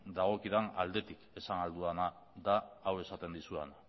dagokidan aldetik esan ahal dudana da hau esaten dizudana